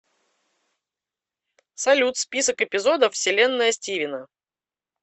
салют список эпизодов вселенная стивена